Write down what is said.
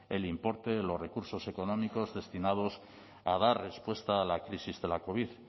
el importe de los recursos económicos destinados a dar respuesta a la crisis de la covid